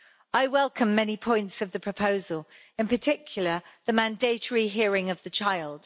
I welcome many points of the proposal, in particular the mandatory hearing of the child.